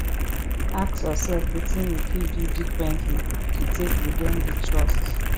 ask yourself wetin you fit do differently to take regain di trust